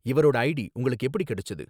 இவரோட ஐடி உங்களுக்கு எப்படி கிடைச்சது?